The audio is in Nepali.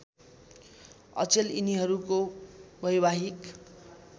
अचेल यिनीहरूको वैवाहिक